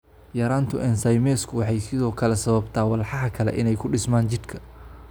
Yaraanta ensaymesku waxay sidoo kale sababtaa walxaha kale inay ku dhismaan jidhka.